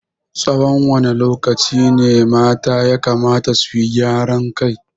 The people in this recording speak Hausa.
Tsawan wane lokaci ne mata yakamata su gyaran kai?